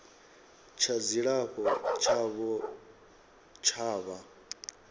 tsha dzilafho tshavho tsha vha